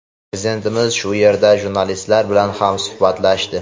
Prezidentimiz shu yerda jurnalistlar bilan ham suhbatlashdi.